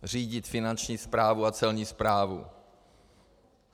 Řídit finanční správu a celní správu.